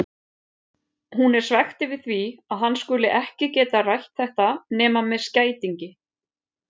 Hún er svekkt yfir því að hann skuli ekki geta rætt þetta nema með skætingi.